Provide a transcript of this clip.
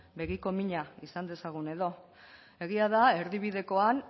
begiko mina izan dezagun edo egia da erdibidekoan